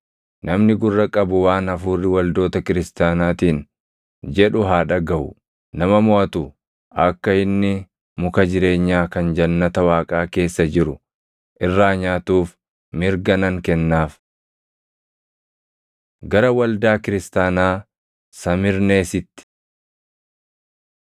Namni gurra qabu waan Hafuurri waldoota kiristaanaatiin jedhu haa dhagaʼu. Nama moʼatu akka inni muka jireenyaa kan jannata Waaqaa keessa jiru irraa nyaatuuf mirga nan kennaaf. Gara Waldaa Kiristaanaa Samirneesitti